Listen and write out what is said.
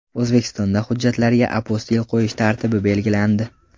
O‘zbekistonda hujjatlarga apostil qo‘yish tartibi belgilandi.